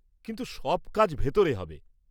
কিন্তু সব কাজ ভেতরে হবে।